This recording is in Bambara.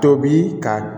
Tobi ka